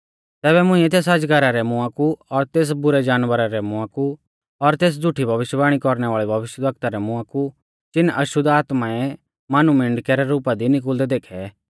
तैबै मुंइऐ तेस अजगरा रै मुंआ कु और तेस बुरै जानवरा रै मुंआ कु और तेस झ़ुठी भविष्यवाणी कौरणै वाल़ै भविष्यवक्ता रै मुंआ कु चीन अशुद्ध आत्माऐं मानुमिंडकै रै रुपा दी निकुल़दै देखै